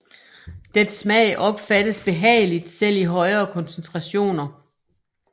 Dets smag opfattes behageligt selv i højere koncentrationer